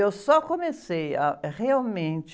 Eu só comecei a realmente...